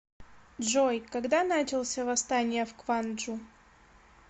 джой когда начался восстание в кванджу